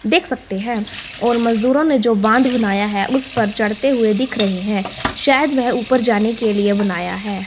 देख सकते हैं और मजदूरों ने जो बांध बनाया है उस पर चढ़ते हुए दिख रहे हैं। शायद वह ऊपर जाने के लिए बनाया है।